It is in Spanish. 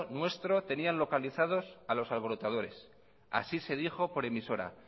nuestro tenían localizados a los alborotadores así se dijo por emisora